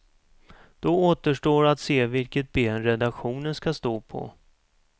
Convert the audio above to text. Då återstår att se vilket ben redaktionen skall stå på.